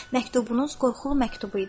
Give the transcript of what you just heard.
Məktubunuz qorxulu məktubu idi.